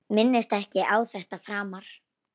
Minnist ekki á þetta framar.